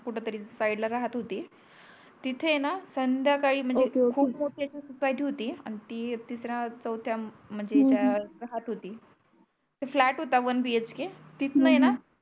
कुठे तरी साइड ला राहत होती तिथे आहेणा संध्याकाळी हो हो म्हणजे खूप मोठी याची सोसायटी होती अन ती एकटीच राहत होती चौथया हम्म म्हणजे त्या राहत होती फ्लॅट होता वन बी एच के तिथं आहेणा